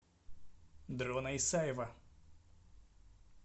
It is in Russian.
дрона исаева